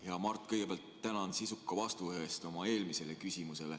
Hea Mart, ma kõigepealt tänan sisuka vastuse eest oma eelmisele küsimusele.